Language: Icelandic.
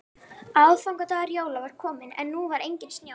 Aðfangadagur jóla var kominn en nú var enginn snjór.